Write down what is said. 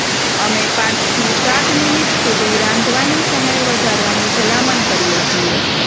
અમે પાંચથી સાત મિનિટ સુધી રાંધવાની સમય વધારવાની ભલામણ કરીએ છીએ